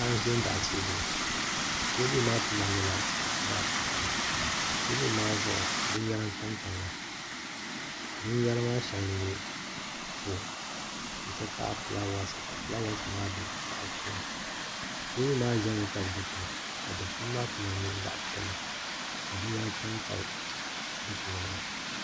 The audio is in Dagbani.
Paɣa n ʒɛ n baɣa teebuli teebuli maa kama nyɛla zaɣ vakaɣali teebuli maa zuɣu binyɛra n tamtamya binyɛra maa shɛŋa n nyɛ foon n ti pahi fulaawaasi ka fulaawaasi maa bɛ laa puuni teebuli maa ʒɛmi tabi dikpuni ka dikpuni maa kama nyɛ zaɣ piɛlli ka binyɛra tamtam dikpuna maa